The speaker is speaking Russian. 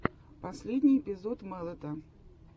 последний эпизод мэлэта